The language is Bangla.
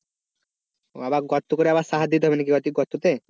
আবার গর্ত করে সাহার দিতে হবে নাকি গর্ততে?